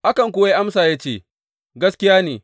Akan kuwa ya amsa ya ce, Gaskiya ne!